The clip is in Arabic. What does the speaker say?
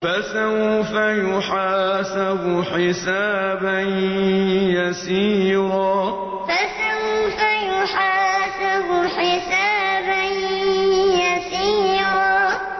فَسَوْفَ يُحَاسَبُ حِسَابًا يَسِيرًا فَسَوْفَ يُحَاسَبُ حِسَابًا يَسِيرًا